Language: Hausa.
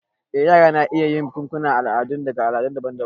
Eh, yara na iya yin bukukuwan al'adu daga al'adu daban-daban.